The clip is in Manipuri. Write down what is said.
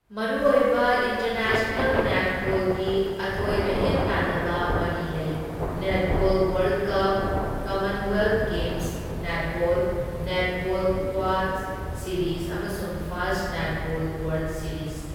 ꯃꯔꯨꯑꯣꯏꯕ ꯏꯟꯇꯔꯅꯦꯁꯅꯦꯜ ꯅꯦꯠꯕꯣꯜꯒꯤ ꯑꯊꯣꯏ ꯑꯍꯦꯟ ꯇꯥꯟꯅꯕ ꯃꯔꯤ ꯂꯩ, netball world cup, commonwealth games netball, netball quad series ꯑꯃꯁꯨꯡ ꯐꯥꯁꯠ ꯅꯦꯠꯕꯣꯜ ꯋꯥꯔꯜꯗ ꯁꯤꯔꯤꯖ꯫